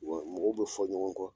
Wa mɔgɔw bɛ fɔ ɲɔgɔn kɔ.